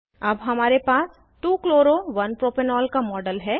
अब हमारे पास 2 chloro 1 प्रोपेनॉल का मॉडल है